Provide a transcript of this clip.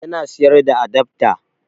Yana siyar da adafta